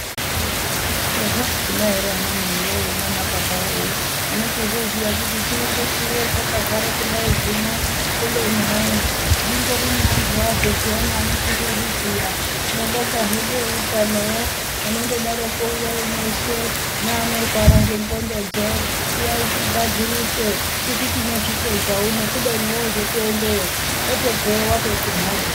Zviro zvakhona eree ana mai wee nana baba wee unotozoziya kuti chiri ngechiri hetakagara kudai zvino kubeni hai zvingori neanthu azvo pheyani anochizozviziya, tinobonga hedu eutanowo anondodaroko uyai mweshe neanorwara ngendxondo dzo uyai tigadzirise tisu tinozvipedza uno kubeni woozotoendeyo wotobveyo watoti mhorhyo.